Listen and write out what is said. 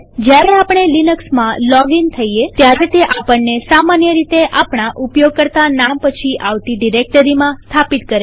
જયારે આપણે લિનક્સમાં લોગઇન થઈએત્યારે તે આપણને સામાન્ય રીતે આપણા ઉપયોગકર્તા નામ પછી આવતી ડિરેક્ટરીમાં સ્થાપિત કરે છે